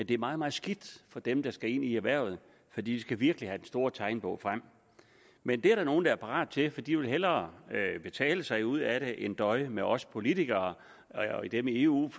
det er meget meget skidt for dem der skal ind i erhvervet for de skal virkelig have den store tegnebog frem men det er der nogle der er parate til for de vil hellere betale sig ud af det end døje med os politikere og dem i eu